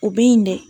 U bɛ yen dɛ